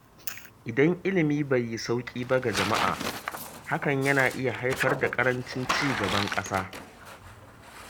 Idan ilimi bai yi sauƙi ba ga jama'a, hakan yana iya haifar da ƙarancin ci gaban ƙasa.